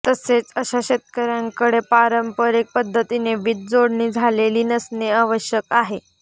तसेच अशा शेतकऱ्यांकडे पांरपरिक पध्दतीने वीज जोडणी झालेली नसणे आवश्यक आहे